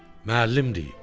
Müəllim deyib.